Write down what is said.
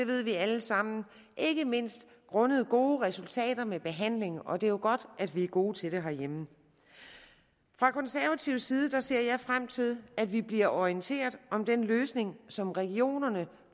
ved vi alle sammen ikke mindst grundet gode resultater med behandlingen og det er jo godt at vi er gode til det herhjemme fra konservativ side ser jeg frem til at vi bliver orienteret om den løsning som regionerne